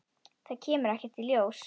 Það kemur ekkert ljós.